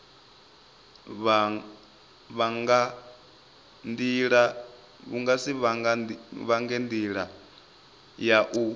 vha nga ndila ya u